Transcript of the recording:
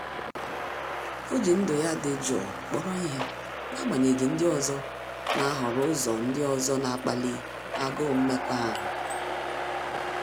Ọ́ jì ndụ́ ya dị̀ jụụ kpọ́rọ́ ihe n’ágbànyéghị́ ndị ọzọ nà-àhọ́rọ́ ụ́zọ́ ndị ọzọ nà-ákpáli águụ mmekọahụ.